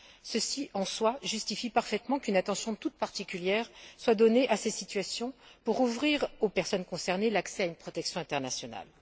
Ceci, en soi, justifie parfaitement qu'une attention toute particulière soit accordée à ces situations pour ouvrir aux personnes concernées l'accès à une protection internationale.